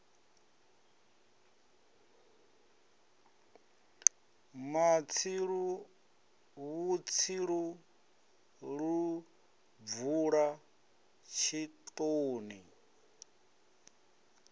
matsilu vhutsilu lu bvula tshitoni